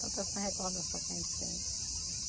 Tantas recordação que a gente sente.